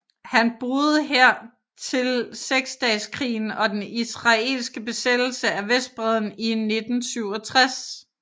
Han boede her til Seksdageskrigen og den israelske besættelse af Vestbredden i 1967